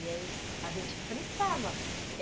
E aí a gente fritava.